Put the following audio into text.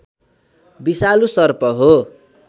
विषालु सर्प हो